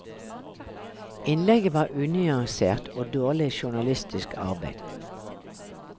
Innlegget var unyansert og dårlig journalistisk arbeid.